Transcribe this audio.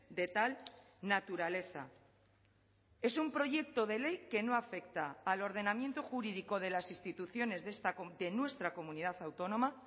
de tal naturaleza es un proyecto de ley que no afecta al ordenamiento jurídico de las instituciones de nuestra comunidad autónoma